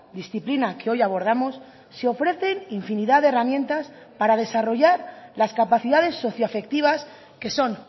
disciplina que hoy abordamos se ofrecen infinidad de herramientas para desarrollar las capacidades socio afectivas que son